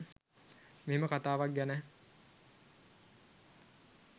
මෙහෙම කතාවක් ගැන